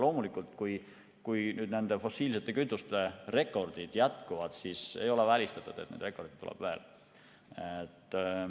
Loomulikult, kui fossiilsete kütuste rekordid jätkuvad, siis ei ole välistatud, et elektrirekordeid tuleb veel.